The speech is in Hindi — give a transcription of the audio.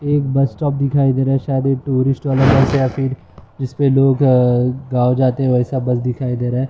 एक बस स्टॉप दिखाई दे रहा हैं शायद ये टूरिस्ट वाले बस या फिर जिस पे लोग अ गांव जाते हैं वैसा बस दिखाई दे रहा हैं ।